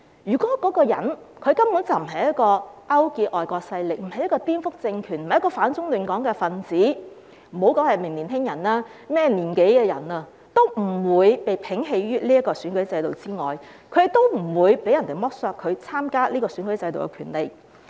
如果一個人根本沒有勾結外國勢力，不是顛覆政權、反中亂港的分子，無論是年輕人還是甚麼年紀的人，也不會被摒棄於選舉制度之外，不會被剝削參加選舉的權利。